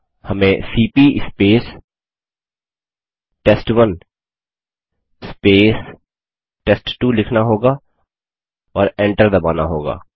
हमें CP test one test two लिखना होगा और एंटर दबाना होगा